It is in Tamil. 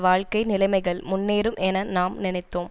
வாழ்க்கை நிலைமைகள் முன்னேறும் என நாம் நினைத்தோம்